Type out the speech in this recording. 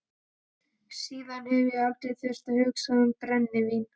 Síðan hef ég aldrei þurft að hugsa um brennivín.